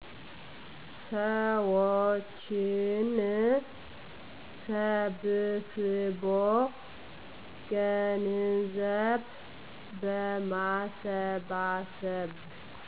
ሰዎችን ሰብስቦ ገንዘብ በማሰባሰብ